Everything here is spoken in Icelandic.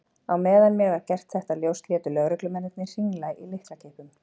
Á meðan mér var gert þetta ljóst létu lögreglumennirnir hringla í lyklakippum.